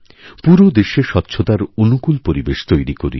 পুরো দেশে স্বচ্ছতার অনুকূল পরিবেশ তৈরি করি